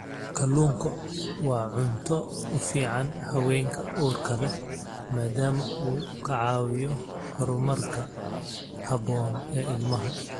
Kalluunku waa cunto u fiican haweenka uurka leh maadaama uu ka caawiyo horumarka habboon ee ilmaha.